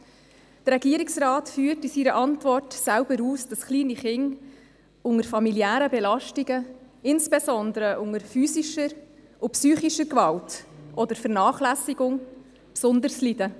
Der Regierungsrat führt in seiner Antwort selber aus, dass kleine Kinder unter familiären Belastungen, insbesondere unter physischer oder psychischer Gewalt oder Vernachlässigung, besonders leiden.